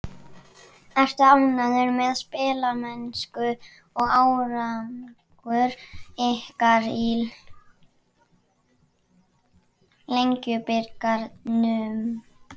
Ertu ánægður með spilamennsku og árangur ykkar í Lengjubikarnum?